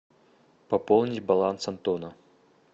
пополнить баланс антона